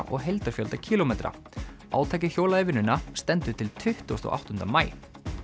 og heildarfjölda kílómetra átakið hjólað í vinnuna stendur til tuttugasta og áttunda maí